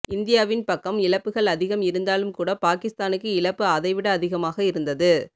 இந்தியாவின் பக்கம் இழப்புகள் அதிகம் இருந்தாலும் கூட பாகிஸ்தானுக்கு இழப்பு அதை விட அதிகமாக இருந்தது